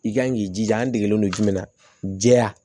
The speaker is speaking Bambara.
I kan k'i jija an degelen don jumɛn na jɛya